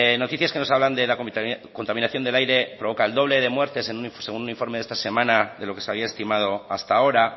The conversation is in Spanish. noticias que nos hablan de la contaminación del aire provoca el doble de muertes según un informe de esta semana de lo que se había estimado hasta ahora